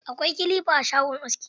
Akwai kilifa a shagon aski.